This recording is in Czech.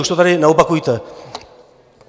Už to tady neopakujte.